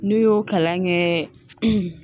N'u y'o kalan kɛ